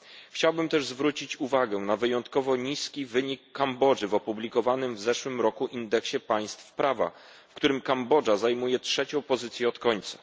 Chciałbym też zwrócić uwagę na wyjątkowo niski wynik Kambodży w opublikowanym w zeszłym roku indeksie państw prawa, w którym Kambodża zajmuje trzecią pozycję od końca.